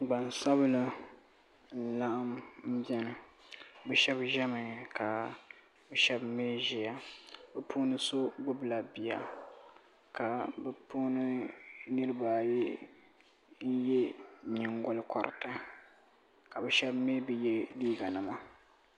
Gbansabila n laɣim biɛni bɛ sheba ʒɛmi ka sheba mee ʒiya bɛ puuni so gbibi la bia ka bɛ puuni niriba ayi n ye nyingo koriti ka bɛ sheba mee bi ye liiga nima.